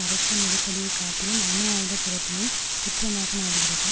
அரசி நெருக்கடியைக் காட்டிலும் அணு ஆயுத திறதினைக் குற்றமாக நாடுகிறது